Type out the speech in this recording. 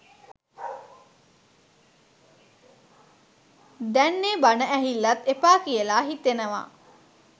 දැන් ඒ බණ ඇහිල්ලත් එපා කියලා හිතෙනවා